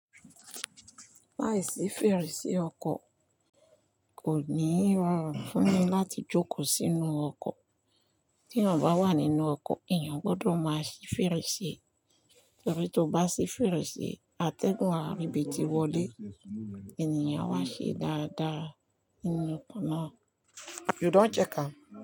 Láìsí fèrèsé ọkọ̀ kò ní rọrùn fún mi láti jókòó sínú ọkọ̀. Tí èèyàn bá wà nínú ọkọ̀, èèyàn gbọdọ̀ máa ṣí fèrèsé torí tó bá ṣí fèrèsé atẹ́gùn ààrì bí ti wọlé, ènìyàn awá ṣe dáadáa nínú ọkọ̀ náà. You don check am?